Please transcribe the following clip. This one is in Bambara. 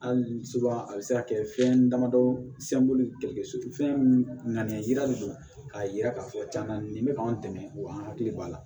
Hali a bɛ se ka kɛ fɛn damadɔ fɛn ŋananiya de don k'a yira k'a fɔ cɛna nin bɛ k'an dɛmɛ o y'an hakili b'a la